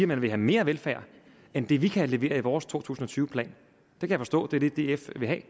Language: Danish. man vil have mere velfærd end det vi kan levere i vores to tusind og tyve plan jeg kan forstå at det er det df vil have